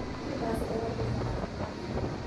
Ndirĩ ndacererwo kũrĩha marĩhi ma thitima.